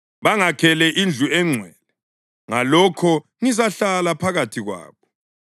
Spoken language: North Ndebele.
Bangakhele indlu engcwele, ngalokho ngizahlala phakathi kwabo.